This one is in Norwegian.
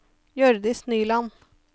Hjørdis Nyland